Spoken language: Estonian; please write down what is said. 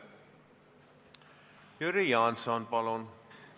Jüri Jaanson, palun!